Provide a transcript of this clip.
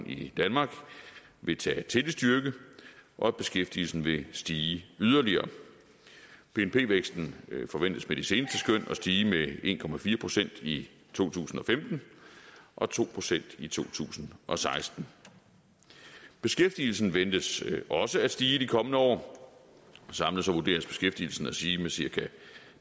i danmark vil tage til i styrke og at beskæftigelsen vil stige yderligere bnp væksten forventes med de seneste skøn at stige med en procent i to tusind og femten og to procent i to tusind og seksten beskæftigelsen ventes også at stige i de kommende år samlet vurderes beskæftigelsen at stige med cirka